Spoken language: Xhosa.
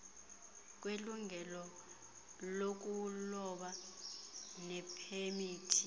kwelungelo lokuloba nepemithi